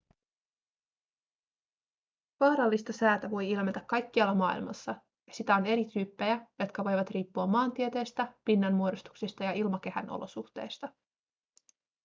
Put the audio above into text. vaarallista säätä voi ilmetä kaikkialla maailmassa ja sitä on eri tyyppejä jotka voivat riippua maantieteestä pinnanmuodostuksista ja ilmakehän olosuhteista